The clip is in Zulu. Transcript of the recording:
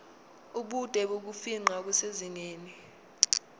ubude bokufingqa kusezingeni